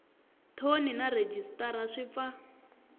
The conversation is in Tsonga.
thoni na rhejisitara swi pfa